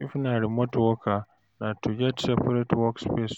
If na remote worker, na to get seperate work space